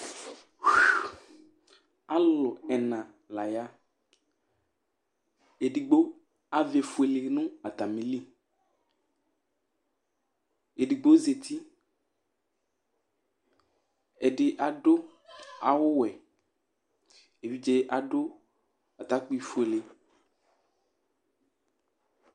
Alulu ɛna la ya Ɛɖigbo avɛ fʋele ŋu atamìli Ɛɖigbo zɛti Ɛɖì aɖu awu wɛ Evidze aɖu atakpi fʋele